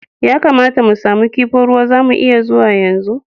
Ya kamata mu samu kifin ruwa, za mu iya zuwa yanzu?